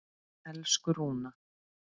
Elsku Rúna.